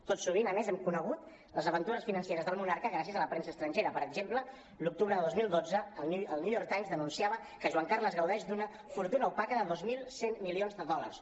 tot sovint a més hem conegut els aventures financeres del monarca gràcies a la premsa estrangera per exemple l’octubre de dos mil dotze el new york times denunciava que joan carles gaudeix d’una fortuna opaca de dos mil cent milions de dòlars